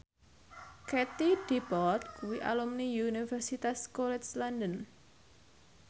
Katie Dippold kuwi alumni Universitas College London